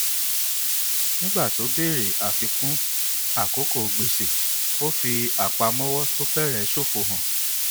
nígbà tó béèrè ìfikún àkókò gbèsè ó fi apamọwọ tó fẹrẹ ṣofo hàn